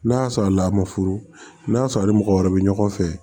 N'a sɔrɔ la a ma furu n'a sɔrɔ a ni mɔgɔ wɛrɛ be ɲɔgɔn fɛ